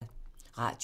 Radio 4